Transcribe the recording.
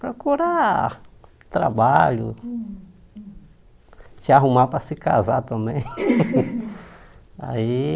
Procurar trabalho, se arrumar para se casar também. Aí